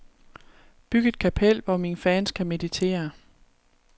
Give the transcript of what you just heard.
Byg et kapel, hvor mine fans kan meditere.